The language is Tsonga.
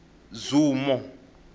zumo